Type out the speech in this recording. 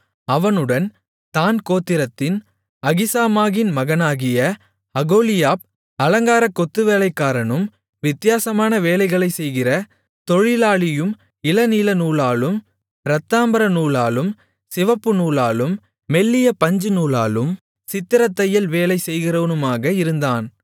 அவனுடன் தாண் கோத்திரத்தின் அகிசாமாகின் மகனாகிய அகோலியாப் அலங்காரக் கொத்துவேலைக்காரனும் வித்தியாசமான வேலைகளைச்செய்கிற தொழிலாளியும் இளநீலநூலாலும் இரத்தாம்பரநூலாலும் சிவப்புநூலாலும் மெல்லிய பஞ்சுநூலாலும் சித்திரத்தையல் வேலை செய்கிறவனுமாக இருந்தான்